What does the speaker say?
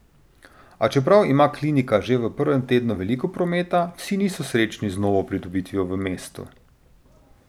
A čeprav ima klinika že v prvem tednu veliko prometa, vsi niso srečni z novo pridobitvijo v mestu.